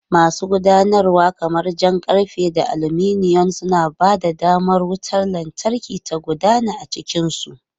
Masu gudanarwa kamar jan karfe da aluminum, suna ba da damar wutar lantarki ta gudana ta cikin su.